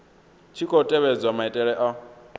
tshi khou tevhedzwa maitele a